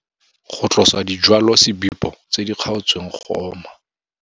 Go tlosa dijwalosebipo tse di kgaotsweng go oma.